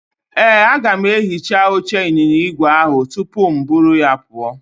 Ee, aga m ehicha oche ịnyịnya igwe ahụ tupu mụ eburu ya pụọ.